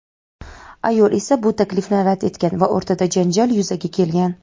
Ayol esa bu taklifni rad etgan va o‘rtada janjal yuzaga kelgan.